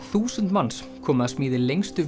þúsund manns komu að smíði lengstu